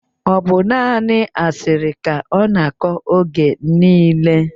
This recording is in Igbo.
Ọ bụ naanị asịrị ka ọ na-akọ oge niile